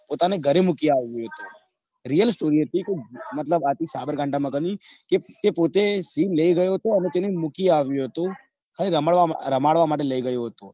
પોતાને ગરે મૂકી આવ્યું હતું real story હતો કોઈક મતલબ સાબરકાંઠા માં કે પોતે સિંહ લઇ ગયો તો અને, તેને મૂકી આવ્યો તો ખાલી રમાડવા રમાડવા માટે લઇ ગયો તો.